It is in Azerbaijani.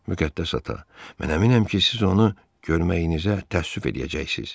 Müqəddəs ata, mən əminəm ki, siz onu görməyinizə də təəssüf eləyəcəksiz.